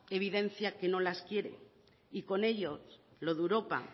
evidencia que no las quiere y con ello lo de europa